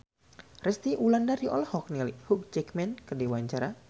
Resty Wulandari olohok ningali Hugh Jackman keur diwawancara